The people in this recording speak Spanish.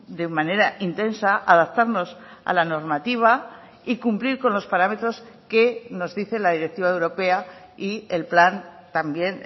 de manera intensa adaptarnos a la normativa y cumplir con los parámetros que nos dice la directiva europea y el plan también